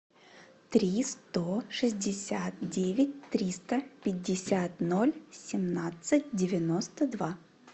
три сто шестьдесят девять триста пятьдесят ноль семнадцать девяносто два